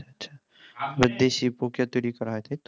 দেশি প্রক্রিয়া তৈরি করা হয় তাইতো